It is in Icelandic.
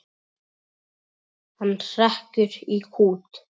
Hann hrekkur í kút.